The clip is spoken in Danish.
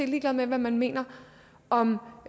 ligeglad med hvad man mener om